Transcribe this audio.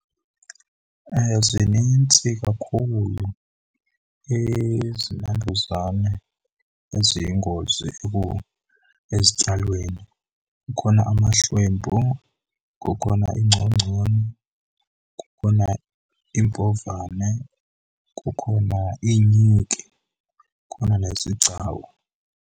Zinintsi kakhulu izinambuzane eziyingozi ezityalweni. Kukhona amahlwempu, kukhona ingcongconi, kukhona iimbovane, kukhona iinyiki, kukhona nezigcawu.